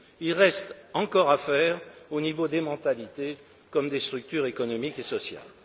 Il reste encore à faire au niveau des mentalités comme des structures économiques et sociales.